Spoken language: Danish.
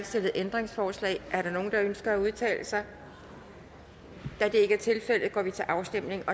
stillet ændringsforslag er der nogen der ønsker at udtale sig da det ikke er tilfældet går vi til afstemning